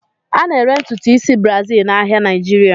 A na-ere ntutu isi Brazil n'ahịa Naịjirịa.